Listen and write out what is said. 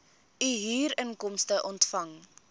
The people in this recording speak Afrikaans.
u huurinkomste ontvang